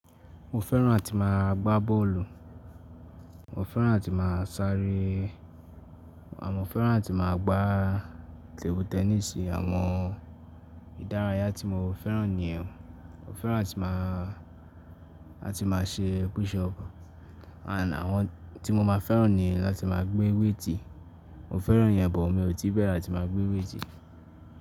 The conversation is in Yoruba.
Mo fẹ́ràn àti máa gbá bọ́ọ̀lù, mo fẹ́ràn àti máa sáré, a mo fẹ́ràn àti máa gbá table tẹnísì. Àwọn ìdárayá tí mo fẹ́ràn ni, mo fẹ́ràn àti máa, àti máa ṣe push up, àti àwọn tí mo máa fẹ́ràn ni láti máa gbé wéètì, mo fẹ́ràn ìyẹn, but mi ò tí bẹ̀rẹ̀ àti máa gbé wéètì.